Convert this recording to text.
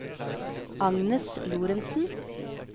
Agnes Lorentzen